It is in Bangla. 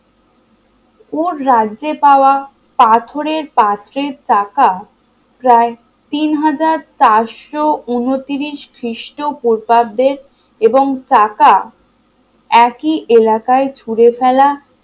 ওর রাজ্যে পাওয়া পাথরের পাত্রের চাকা প্রায় তিন হাজার চারশো ঊনত্রিশ খ্রিস্টপূর্বাব্দে এবং চাকা একই এলাকায় ছুঁড়ে ফেলা